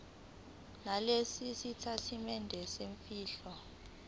nalesi sitatimende semfihlo